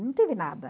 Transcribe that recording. Não tive nada.